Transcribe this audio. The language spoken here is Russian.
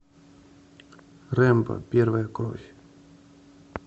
рэмбо первая кровь